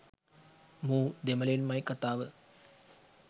මූ දෙමලෙන්මයි කතාව